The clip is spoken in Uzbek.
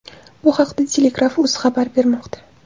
Bu haqda Telegraf.uz xabar bermoqda .